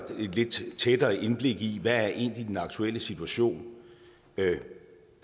lidt tættere indblik i hvad der egentlig er den aktuelle situation